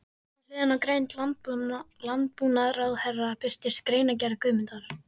Við hliðina á grein landbúnaðarráðherra birtist greinargerð Guðmundar